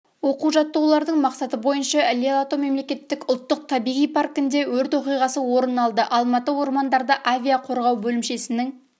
оқу-жаттығулардың мақсаты бойынша іле-алатау мемлекеттік ұлттық табиғи паркінде өрт оқиғасы орын алды алматы ормандарды авиа-қорғау бөлімшесінің